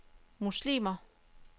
muslimer